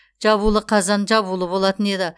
жабулы қазан жабулы болатын еді